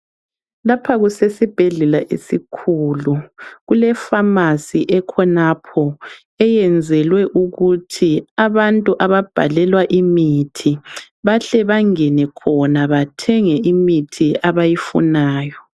Lapha kusesibhedlela esikhulu kule Pharmacy khonapho eyenzelwe ukuthi abantu ababhalelwe imithi behle bengene bethenge khona imithi abayifunayo